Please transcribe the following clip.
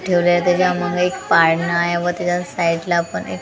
ठेवले होते ज्यामध्ये एक पाळणा आहे व त्याच्या साईडला पण एक टे --